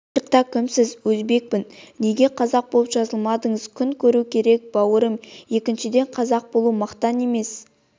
паспортта кімсіз өзбекпін неге қазақ болып жазылмадыңыз күн көру керек бауырым екіншіден қазақ болу мақтан емес